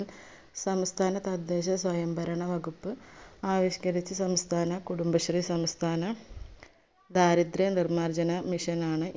സംസ്ഥാന തദ്ദേശ സ്വയം ഭരണ വകുപ്പ് ആവിഷ്‌ക്കരിച്ച സംസ്ഥാന കുടുബശ്രീ സംസ്ഥാന ദാരിദ്ര നിർമാർജന mission ആണ്